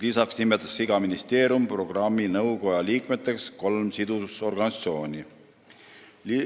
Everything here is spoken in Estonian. Lisaks nimetas iga ministeerium selle programmi nõukoja liikmeteks kolm sidusorganisatsiooni.